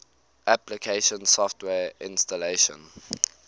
application software installation